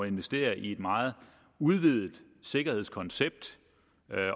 investere i et meget udvidet sikkerhedskoncept